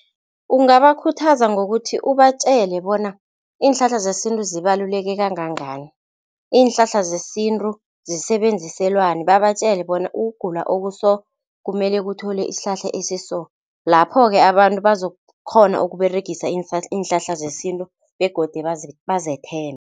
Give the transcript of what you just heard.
Ungabakhuthaza ngokuthi ubatjele bona iinhlahla zesintu zibaluleke kangangani. Iinhlahla zesintu zisebenziselwani, babatjele bona ukugula oku-so kumele kuthole isihlahla esi-so. Lapho-ke abantu bazokukghona ukuberegisa iinhlahla zesintu begodu bazethembe.